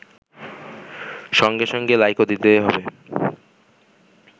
সঙ্গে সঙ্গে লাইকও দিতে হবে